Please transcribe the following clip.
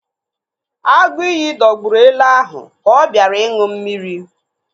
Agụiyi dọgburu ele ahụ ka ọ bịara ịṅụ mmiri